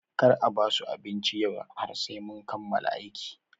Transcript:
Kar a basu abinci yau har sai sun kammala aiki!